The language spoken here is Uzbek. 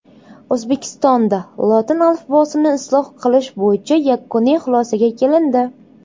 O‘zbekistonda lotin alifbosini isloh qilish bo‘yicha yakuniy xulosaga kelindi.